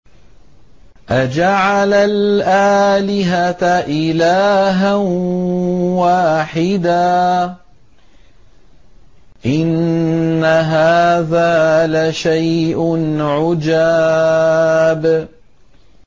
أَجَعَلَ الْآلِهَةَ إِلَٰهًا وَاحِدًا ۖ إِنَّ هَٰذَا لَشَيْءٌ عُجَابٌ